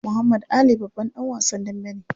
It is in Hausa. Muhammad Ali babban dan wasan dambe ne.